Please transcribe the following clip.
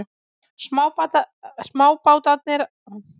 Smábátarnir á hliðina.